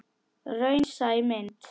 Raunsæ mynd?